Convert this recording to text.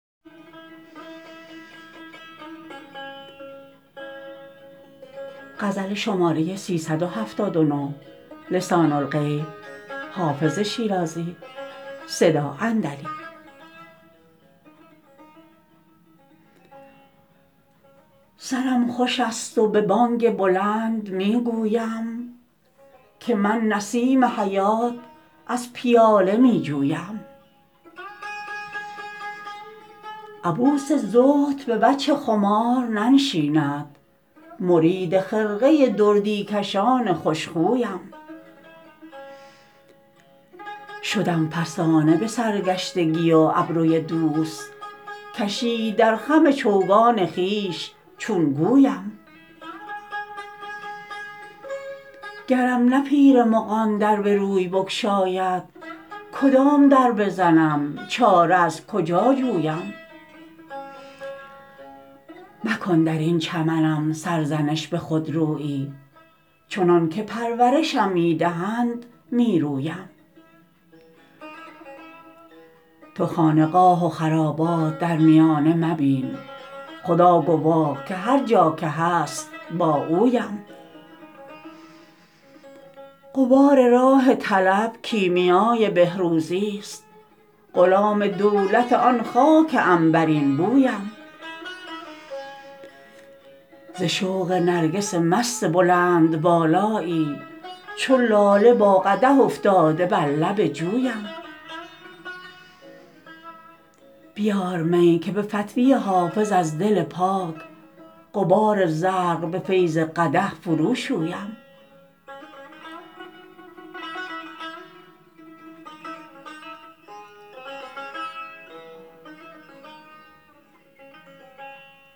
سرم خوش است و به بانگ بلند می گویم که من نسیم حیات از پیاله می جویم عبوس زهد به وجه خمار ننشیند مرید خرقه دردی کشان خوش خویم شدم فسانه به سرگشتگی و ابروی دوست کشید در خم چوگان خویش چون گویم گرم نه پیر مغان در به روی بگشاید کدام در بزنم چاره از کجا جویم مکن در این چمنم سرزنش به خودرویی چنان که پرورشم می دهند می رویم تو خانقاه و خرابات در میانه مبین خدا گواه که هر جا که هست با اویم غبار راه طلب کیمیای بهروزیست غلام دولت آن خاک عنبرین بویم ز شوق نرگس مست بلندبالایی چو لاله با قدح افتاده بر لب جویم بیار می که به فتوی حافظ از دل پاک غبار زرق به فیض قدح فروشویم